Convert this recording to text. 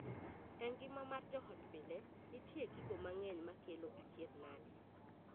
E ngima mar joot mapile, nitie gigo mang'eny makelo achiedhnade.